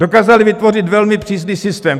Dokázali vytvořit velmi přísný systém.